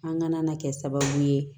An kana na kɛ sababu ye